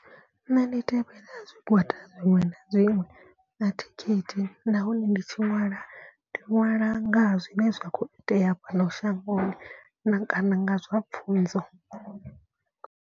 Nṋe ndi tevhela zwigwada zwiṅwe na zwiṅwe a thi khethi. Nahone ndi tshi ṅwala ndi nwala ngaha zwine zwa kho itea fhano shangoni na kana nga zwa pfhunzo.